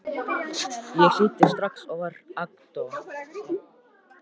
Rósmann, hvað er lengi opið í Byko?